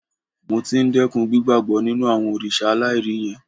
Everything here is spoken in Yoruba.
Mo ti ń dẹ́kun gbígbàbọ́ nínú àwọn òrìṣà aláìrí yẹn